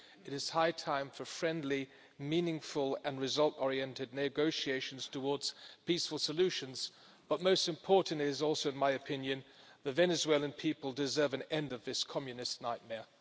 It is high time for friendly, meaningful and result oriented negotiations towards peaceful solutions but most important also, in my opinion, is that the Venezuelan people deserve an end to this Communist nightmare.